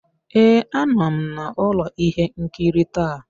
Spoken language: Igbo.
Ee, a nọ m na ụlọ ihe nkiri taa.